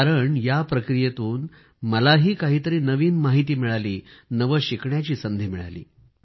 कारण या प्रक्रियेतून मलाही काहीतरी नवीन माहिती मिळाली नवं शिकण्याची संधी मिळाली